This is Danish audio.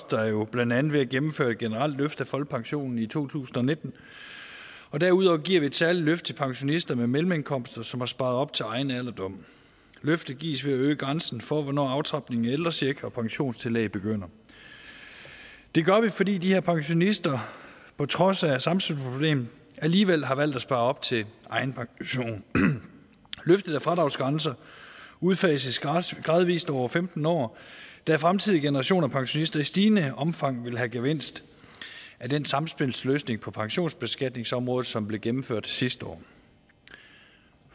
der jo blandt andet ved at gennemføre et generelt løft af folkepensionen i to tusind og nitten og derudover giver vi et særligt løft til pensionister med mellemindkomster som har sparet op til egen alderdom løftet gives ved at øge grænsen for hvornår aftrapningen af ældrecheck og pensionstillæg begynder det gør vi fordi de her pensionister på trods af samspilsproblemet alligevel har valgt at spare op til egen pension løftet af fradragsgrænser udfases gradvist over femten år da fremtidige generationer af pensionister i stigende omfang vil have gevinst af den samspilsløsning på pensionsbeskatningsområdet som blev gennemført sidste år